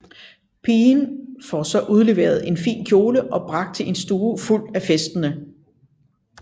Pigen får så udleveret en fin kjole og bragt til en stue fuld af festende